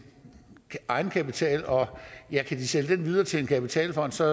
egenkapital og ja kan de sælge den videre til en kapitalfond så